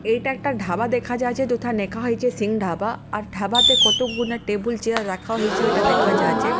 এইটা একটা ঢাবা দেখা যাচ্ছে যথা নেখা হয়েছে সিং ঢাবা আর ঢাবাতে কতগুনা টেবিল চেয়ার রাখা হয়েছে ঐটা দেখা যাচ্ছে।